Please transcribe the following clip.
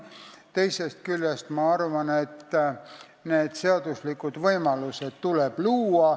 Teisest küljest ma arvan, et seaduslikud võimalused tuleb luua.